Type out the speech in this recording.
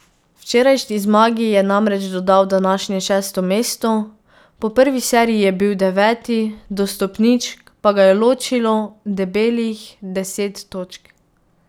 Včerajšnji zmagi je namreč dodal današnje šesto mesto, po prvi seriji je bil deveti, do stopničk pa ga je ločilo debelih deset točk.